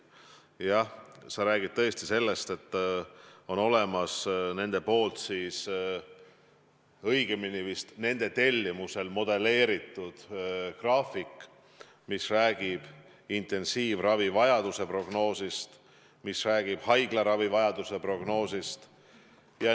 Jah, sa räägid sellest, et on olemas nende, õigemini vist nende tellimusel modelleeritud graafik, mis räägib intensiivravivajaduse prognoosist, mis räägib haiglaravivajaduse prognoosist.